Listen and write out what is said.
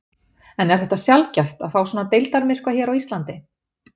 En er þetta sjaldgæft að fá svona deildarmyrkva hérna á Íslandi?